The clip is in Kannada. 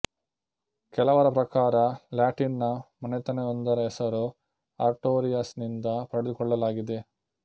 ಕೆಲವರ ಪ್ರಕಾರ ಲ್ಯಾಟಿನ್ ನ ಮನೆತನಯೊಂದರ ಹೆಸರು ಆರ್ಟೊರಿಯಸ್ ನಿಂದ ಪಡೆದುಕೊಳ್ಳಲಾಗಿದೆ